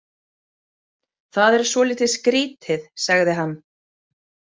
Það er svolítið skrítið, sagði hann.